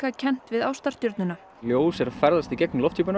kennt við ljós er að ferðast í gegnum lofthjúpinn